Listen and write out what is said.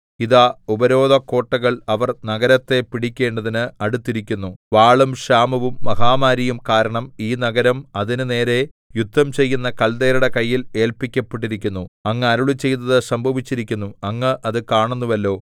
ഇതാ ഉപരോധക്കോട്ടകൾ അവർ നഗരത്തെ പിടിക്കേണ്ടതിന് അടുത്തിരിക്കുന്നു വാളും ക്ഷാമവും മഹാമാരിയും കാരണം ഈ നഗരം അതിന് നേരെ യുദ്ധം ചെയ്യുന്ന കൽദയരുടെ കയ്യിൽ ഏല്പിക്കപ്പെട്ടിരിക്കുന്നു അങ്ങ് അരുളിച്ചെയ്തത് സംഭവിച്ചിരിക്കുന്നു അങ്ങ് അത് കാണുന്നുവല്ലോ